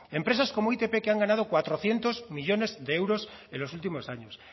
empresas como itp que han ganado cuatrocientos millónes de euros en los últimos años